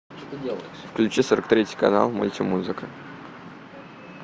включи сорок третий канал мультимузыка